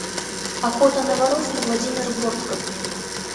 охота на воров владимир бортко